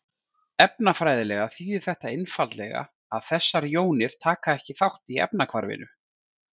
Efnafræðilega þýðir þetta einfaldlega að þessar jónir taka ekki þátt í efnahvarfinu.